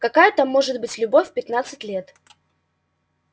какая там может быть любовь в пятнадцать лет